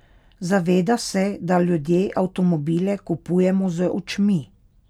Zaveda se, da ljudje avtomobile kupujemo z očmi.